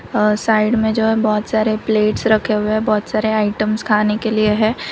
अह side में जो है बहुत सारे प्लेट्स रखे हुए हैं बहुत सारे आइटम्स खाने के लिए है।